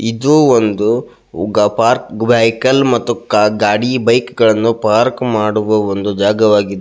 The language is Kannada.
ಇದು ಒಂದು ಪಾರ್ಕ್ ವೆಹಿಕಲ್ ಮತ್ತು ಗಾಡಿ ಬೈಕ್ ಗಳನ್ನೂ ಪಾರ್ಕ್ ಮಾಡುವ ಒಂದು ಜಾಗ ಆಗಿದ್ದು.